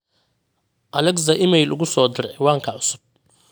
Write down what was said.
alexa iimayl ugu soo dir ciwaanka cusub